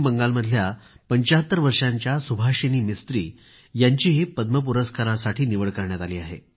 पश्चिम बंगालमधल्या 75 वर्षांच्या सुभाषिनी मिस्त्री यांचीही पद्म पुरस्कारासाठी निवड करण्यात आली आहे